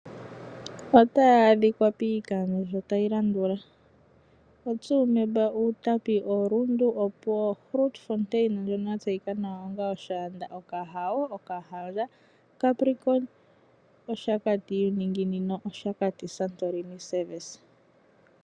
Otaya adhikwa piikandjo tayi landula: oTsumeb, Outapi, oRundu, Opuwo, Grootfontein ndjono ya tseyika nawa onga oshaanda, Okahao, Okahandja, Capricorn, Oshakati uuninginino, Oshakati Santorini Service.